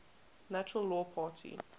natural law party